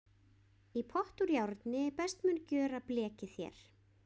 í pott úr járni best mun gjöra blekið þér